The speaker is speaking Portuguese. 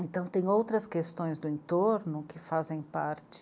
Então tem outras questões do entorno que fazem parte